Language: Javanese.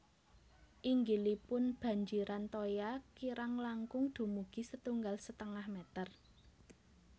Inggilipun banjiran toya kirang langkung dumugi setunggal setengah meter